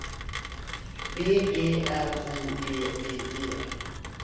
B E R O D D E